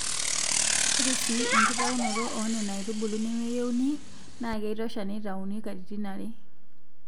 Ore sii enkitaunoto oo nena aitubulu nemeyieuni naa keitosha teneitauni katitin are.